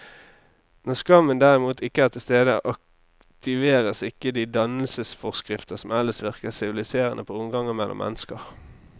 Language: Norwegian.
Når skammen derimot ikke er til stede, aktiveres ikke de dannelsesforskrifter som ellers virker siviliserende på omgangen mellom mennesker.